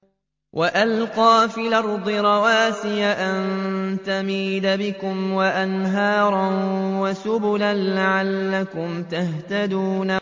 وَأَلْقَىٰ فِي الْأَرْضِ رَوَاسِيَ أَن تَمِيدَ بِكُمْ وَأَنْهَارًا وَسُبُلًا لَّعَلَّكُمْ تَهْتَدُونَ